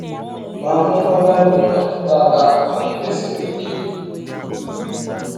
Ma amụma Baịbụl nwere ntọala omume siri ike.